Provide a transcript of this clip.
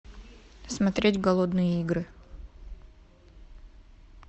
смотреть голодные игры